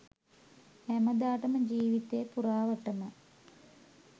හැමදාටම ජීවිතේ පුරාවටම